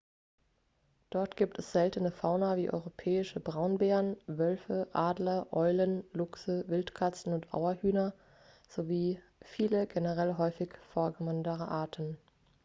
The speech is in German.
dort gibt es seltene fauna wie europäische braunbären wölfe adler eulen luchse wildkatzen und auerhühner sowie viele generell häufiger vorkommende arten